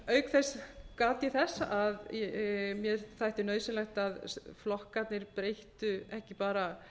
auk þess gat ég þess að mér þætti nauðsynlegt að flokkarnir breyttu ekki bara